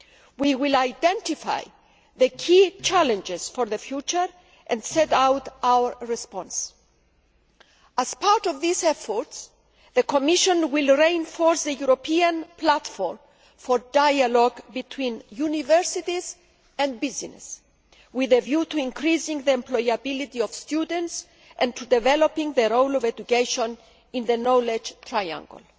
We will identify the key challenges for the future and set out our response. As part of these efforts, the Commission will reinforce the European platform for dialogue between universities and business, with a view to increasing the employability of students and to developing the role of education in the knowledge triangle.